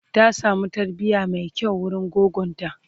ta samu tarbiya Mai kyau wurin goggonta